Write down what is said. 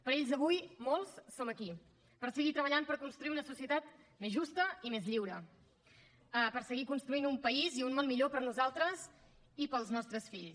per ells avui molts som aquí per seguir treballant per construir una societat més justa i més lliure per seguir construint un país i un món millor per a nosaltres i per als nostres fills